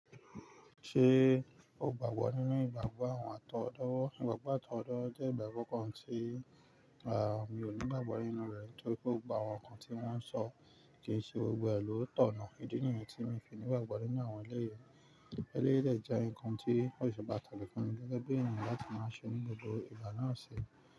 Ṣé o gbàgbọ́ nínú ìgbàgbọ́ àwọn àtọwọ́dowo? Ìgbàgbọ́ àtọwọ́dowo jẹ́ ìgbàgbọ́ kan tí, mi ò ní ìgbàgbọ́ nínú rẹ̀ nítorí pé gbogbo àwọn nǹkan tí wọ́n ń sọ kí i ṣe gbogbo ẹ lọ́ tọ̀nà. Ídí nìyẹn tí mo fi ní ìgbàgbọ́ nínú àwọn eléyi. Eléyi dẹ́ je nǹkan tí o ṣe pàtàkì fun mi gẹ́gẹ́ bí ènìyàn la ti máa ṣe ní gbogbo ìgbà náà ṣi.